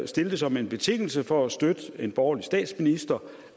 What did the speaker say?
stille det som en betingelse for at støtte en borgerlig statsminister